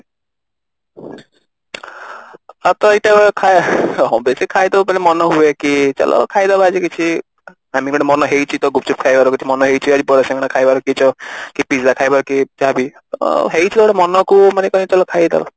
ହଁ ତ ଏଇଟା ବେଶୀ ଖାଇଦଉ ବୋଲେ ମନା ହୁଏ କି ଚାଲ ଖାଇଦବା ଆଜି କିଛି ମାନେ ମନ ହେଇଛି ତ ଗୁପ୍ଚୁପ ଖାଇବାର କି ମନ ହେଇଛି ଆଜି ବରା ଶିଙ୍ଗଡା ଖାଇବାର କି ଯୋଉ pizza ଖାଇବାର କି ଯାହାବି ଆଁ ହେଇଛି ଗୋଟେ ମନ କୁ ମାନେ ଚାଲ ଖାଇଦବା